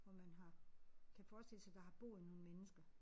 Hvor man har kan forestille sig der har boet nogle mennesker